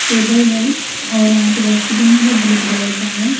Table है और यहाँ पे डस्टबीन है जो ग्रीन कलर का है।